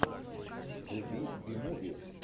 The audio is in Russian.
вруби би муви